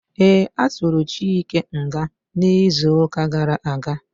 Ee, atụrụ Chike nga n'izuka gara aga